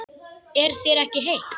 Er þér ekki heitt?